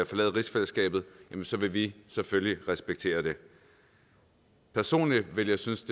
forlade rigsfællesskabet vil vi selvfølgelig respektere det personligt ville jeg synes